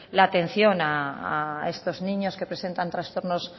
la atención a estos niños que presentan trastornos